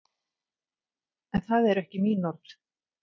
En það eru ekki mín orð.